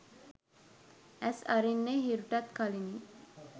ඇස් අරින්නේ හිරුටත් කලිනි